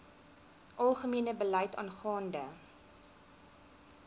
algemene beleid aangaande